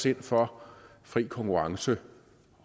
ind for fri konkurrence